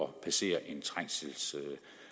passere en trængselsring